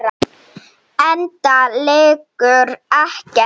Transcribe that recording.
Enda liggur ekkert á.